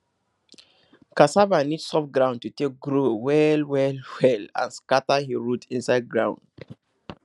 cassava need soft ground to take grow well well well well and scatter him root inside ground